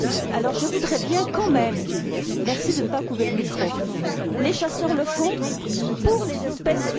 Alors, je voudrais bien quand même merci de ne pas couper le micro les chasseurs le font pour les espèces et pour